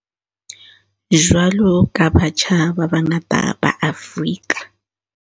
Jwalo ka batjha ba bangata ba Afrika